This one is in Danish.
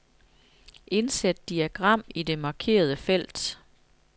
Indsæt diagram i det markerede felt.